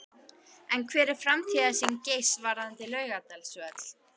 En hver er framtíðarsýn Geirs varðandi Laugardalsvöll?